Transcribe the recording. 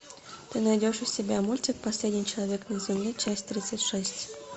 ты найдешь у себя мультик последний человек на земле часть тридцать шесть